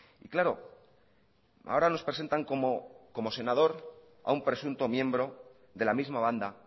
y claro ahora nos presentan como senador a un presunto miembro de la misma banda